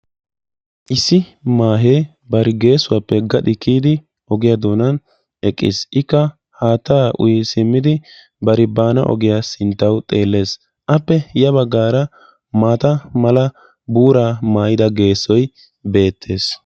Issi maahe bari geessuwappe gaxi kiyidi ogiya doonan eqqis. Ikka haatta uyi simmidi bari baana ogiya sinttawu xeelles. Appe ya baggaara maata mala buura mayyida geessoyi beettes.